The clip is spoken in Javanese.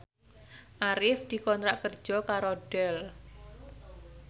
Arif dikontrak kerja karo Dell